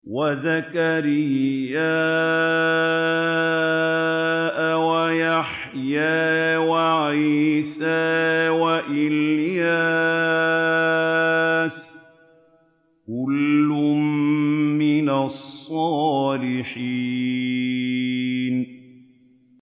وَزَكَرِيَّا وَيَحْيَىٰ وَعِيسَىٰ وَإِلْيَاسَ ۖ كُلٌّ مِّنَ الصَّالِحِينَ